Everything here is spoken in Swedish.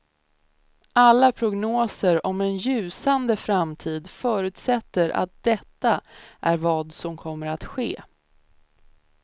Alla prognoser om en ljusande framtid förutsätter att detta är vad som kommer att ske.